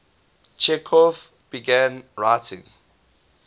chekhov began writing